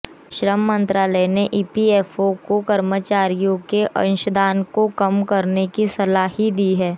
श्रम मंत्रालय ने ईपीएफओ को कर्मचारियों के अंशदान को कम करने की सलाह ही है